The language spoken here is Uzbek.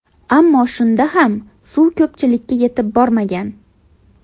Ammo shunda ham suv ko‘pchilikka yetib bormagan.